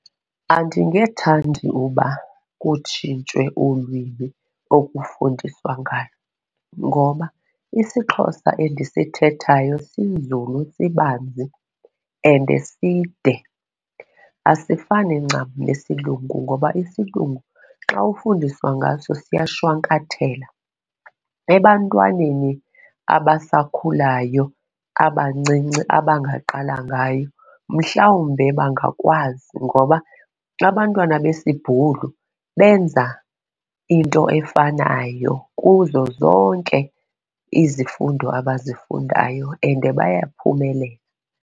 Andingethandi uba kutshintshwe ulwimi okufundiswa ngalo ngoba isiXhosa endisithethayo sinzulu, sibanzi and side. Asifani ncam nesilungu ngoba isilungu xa ufundiswa ngaso siyashwankathela. Ebantwaneni abasakhulayo abancinci abangaqala ngayo mhlawumbe bangakwazi ngoba abantwana besiBhulu benza into efanayo kuzo zonke izifundo abazifundayo and bayaphumelela.